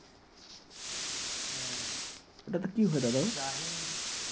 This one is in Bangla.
ওটাতে কি হয় দাদা ভাই?